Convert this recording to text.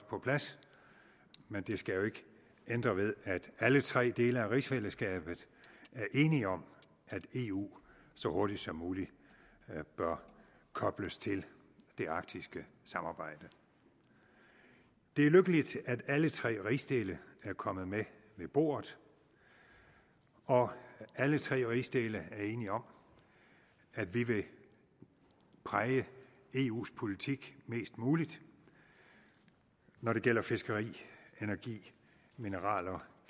på plads men det skal jo ikke ændre ved at alle tre dele af rigsfællesskabet er enige om at eu så hurtigt som muligt bør kobles til det arktiske samarbejde det er lykkeligt at alle tre rigsdele er kommet med ved bordet og alle tre rigsdele er enige om at vi vil præge eus politik mest muligt når det gælder fiskeri energi mineraler